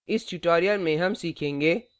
इस tutorial में हम सीखेंगे